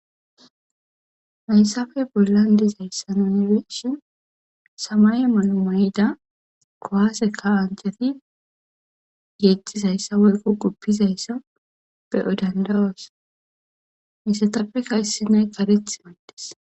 hayssappe bollan dizayssa nonreshin samaye mano may7ida kowase ka ancati geettizayssa woyko guppizayssa be7o dandawoos misatappe kaysi nay kareth maydes